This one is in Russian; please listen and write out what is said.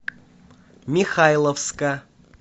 михайловска